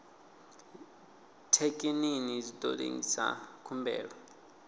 thekinini zwi ḓo lengisa khumbelo